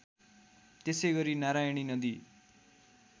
त्यसैगरी नारयणी नदी